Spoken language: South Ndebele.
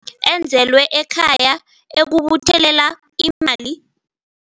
Enzelwe ekhaya ukubuthelela imali.